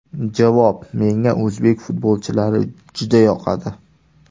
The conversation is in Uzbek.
Javob: Menga o‘zbek futbolchilari juda yoqadi.